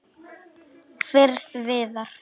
Fyrst Viðar.